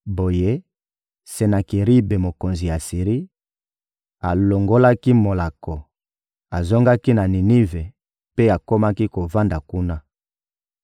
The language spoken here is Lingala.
Boye, Senakeribe, mokonzi ya Asiri, alongolaki molako, azongaki na Ninive mpe akomaki kovanda kuna.